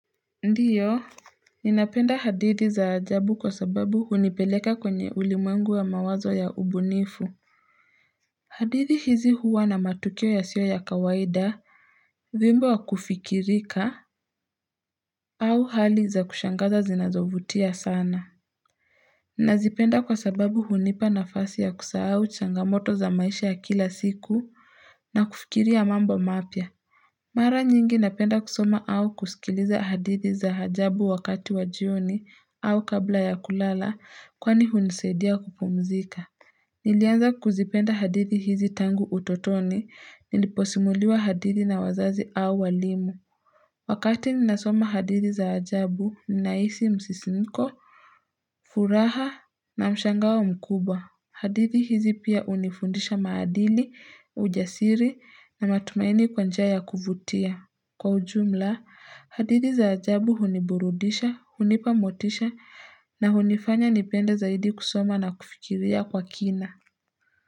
Ndiyo Ninapenda hadithi za ajabu kwa sababu hunipeleka kwenye ulimwengu ya mawazo ya ubunifu hadithi hizi huwa na matukio yasio ya kawaida wimbo wa kufikirika au hali za kushangaza zinazovutia sana Nazipenda kwa sababu hunipa nafasi ya kusahao changamoto za maisha ya kila siku na kufikiria mambo mapya Mara nyingi napenda kusoma au kusikiliza hadithi za ajabu wakati wajioni au kabla ya kulala kwani hunisadia kupumzika Nilianza kuzipenda hadithi hizi tangu utotoni niliposimuliwa hadithi na wazazi au walimu Wakati ninasoma hadithi za ajabu ninahisi msisimko, furaha na mshangao mkubwa hadithi hizi pia hunifundisha maadili, ujasiri na matumaini kwa njia ya kuvutia Kwa ujumla, hadithi za ajabu huniburudisha, hunipa motisha na hunifanya nipende zaidi kusoma na kufikiria kwa kina.